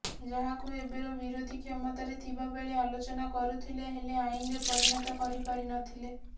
ଯାହାକୁ ଏବେର ବିରୋଧୀ କ୍ଷମତାରେ ଥିବା ବେଳେ ଆଲୋଚନା କରୁଥିଲେ ହେଲେ ଆଇନରେ ପରିଣତ କରିପାରିନଥିଲେ